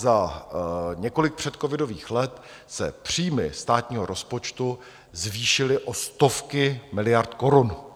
Za několik předcovidových let se příjmy státního rozpočtu zvýšily o stovky miliard korun.